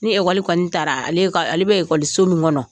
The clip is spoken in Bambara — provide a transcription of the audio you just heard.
Ni ekɔli kɔni taara ale ka ale bɛ ekɔliso min kɔnɔ